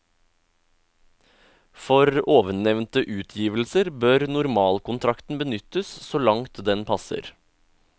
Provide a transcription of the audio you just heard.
For ovennevnte utgivelser bør normalkontrakten benyttes så langt den passer.